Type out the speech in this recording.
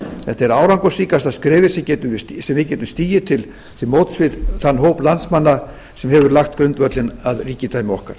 þetta er árangursríkasta skrefið sem við geta stigið til móts við þann hóp landsmanna sem hefur lagt grundvöllinn að ríkidæmi okkar